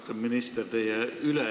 Austatud minister!